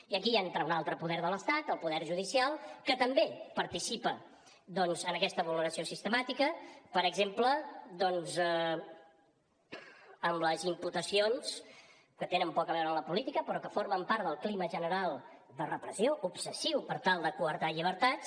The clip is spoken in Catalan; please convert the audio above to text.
i aquí ja entra un altre poder de l’estat el poder judicial que també participa en aquesta vulneració sistemàtica per exemple doncs amb les imputacions que tenen poc a veure amb la política però que formen part del clima general de repressió obsessiu per tal de quartar llibertats